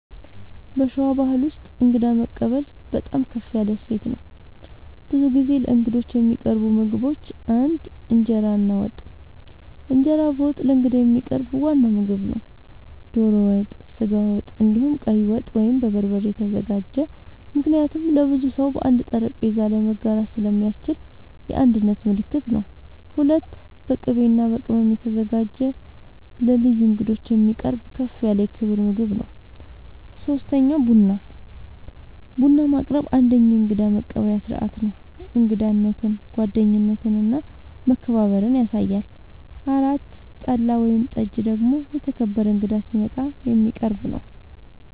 በሸዋ ባሕል ውስጥ እንግዳ መቀበል በጣም ከፍ ያለ እሴት ነው። ብዙ ጊዜ ለእንግዶች የሚቀርቡ ምግቦች ፩) እንጀራ እና ወጥ፦ እንጀራ በወጥ ለእንግዳ የሚቀርብ ዋና ምግብ ነው። ዶሮ ወጥ፣ ስጋ ወጥ፣ እንዲሁም ቀይ ወጥ( በበርበሬ የተዘጋጀ) ምክንያቱም ለብዙ ሰው በአንድ ጠረጴዛ ላይ መጋራት ስለሚያስችል የአንድነት ምልክት ነው። ፪.. በቅቤ እና በቅመም የተዘጋጀ ስጋ ለልዩ እንግዶች የሚቀርብ ከፍ ያለ የክብር ምግብ ነው። ፫. ቡና፦ ቡና ማቅረብ አንደኛዉ የእንግዳ መቀበያ ስርዓት ነው። እንግዳነትን፣ ጓደኝነትን እና መከባበርን ያሳያል። ፬ .ጠላ ወይም ጠጅ ደግሞ የተከበረ እንግዳ ሲመጣ የሚቀረብ ነዉ